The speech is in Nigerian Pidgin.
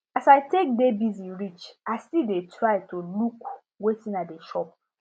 as i take dey busy reach i still dey try to look wetin i dey chop